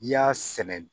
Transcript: N'i y'a sɛnɛ